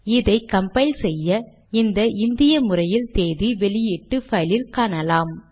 இதை கம்பைல் செய்ய நாம் இந்த இந்திய முறையில் தேதி வெளியீட்டு பைலில் காணலாம்